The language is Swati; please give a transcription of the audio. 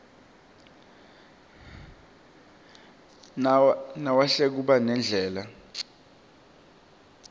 nawehla kuba nendlala